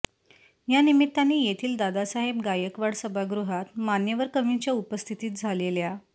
या निमित्ताने येथील दादासाहेब गायकवाड सभागृहात मान्यवर कवींच्या उपस्थितीत झालेल्या